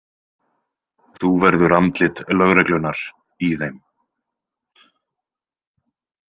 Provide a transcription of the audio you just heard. Þú verður andlit lögreglunnar í þeim.